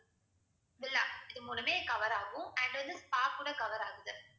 villa இது மூணுமே cover ஆகும் and வந்து spa கூட cover ஆகுது